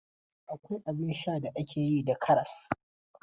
Akwai abin sha da ake yi da karas.